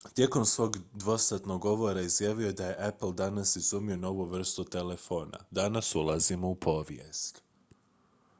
"tijekom svojeg dvosatnog govora izjavio je da je "apple danas izumio novu vrstu telefona. danas ulazimo u povijest"".